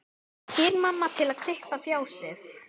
spyr mamma til að klippa á fjasið.